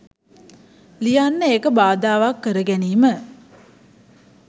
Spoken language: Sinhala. ලියන්න ඒක බාධාවක් කර ගැනීම